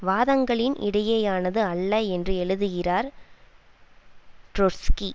வாதங்களின் இடையேயானது அல்ல என்று எழுதுகிறார் ட்ரொட்ஸ்கி